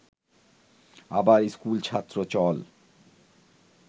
আবার স্কুলছাত্র…চল